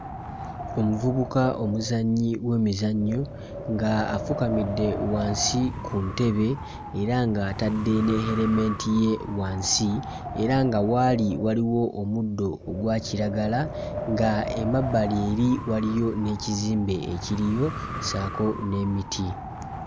Omuvubuka omuzannyi w'emizannyo nga afukamidde wansi ku ntebe era nga atadde ne helmet ye wansi era nga w'ali waliwo omuddo ogwa kiragala nga emabbali eri waliyo n'ekizimbe ekiriyo ssaako n'emiti.